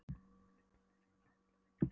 Þunnfljótandi hraun rennur til beggja hliða.